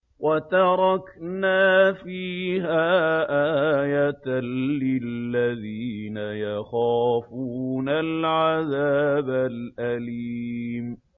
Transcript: وَتَرَكْنَا فِيهَا آيَةً لِّلَّذِينَ يَخَافُونَ الْعَذَابَ الْأَلِيمَ